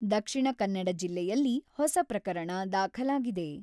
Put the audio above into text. ದಕ್ಷಿಣ ಕನ್ನಡ ಜಿಲ್ಲೆಯಲ್ಲಿ ಹೊಸ ಪ್ರಕರಣ ದಾಖಲಾಗಿದೆ.